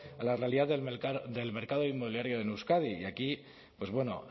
a la realidad del mercado inmobiliario en euskadi y aquí pues bueno